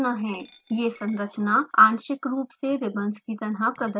ये संरचना आंशिक रूप से ribbons की तरह प्रदर्शित होती है